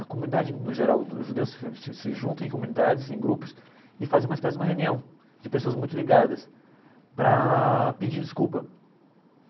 A comunidade, no geral, os judeus se se se juntam em comunidades, em grupos, e fazem uma espécie de reunião de pessoas muito ligadas para pedir desculpa.